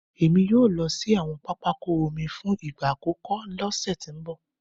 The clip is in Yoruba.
Èmi yóò lọ sí àwọn pápákọ̀ omi fún ìgbà àkọ́kọ́ lọ́sẹ̀ tó ń bọ̀